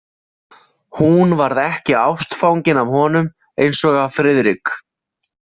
Hún varð ekki ástfangin af honum eins og af Friðrik.